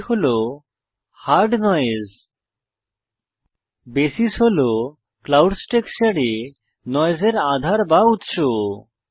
এটি হল hard noise basis হল ক্লাউডস টেক্সচারে নয়েসের আধার বা উত্স